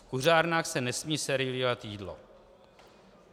V kuřárnách se nesmí servírovat jídlo.